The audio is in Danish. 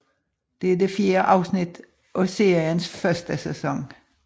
Det er det fjerde afsnit af seriens første sæson